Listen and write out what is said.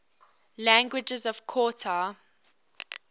languages of qatar